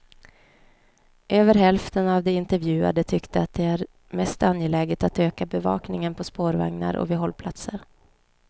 Över hälften av de intervjuade tyckte att det är mest angeläget att öka bevakningen på spårvagnar och vid hållplatser.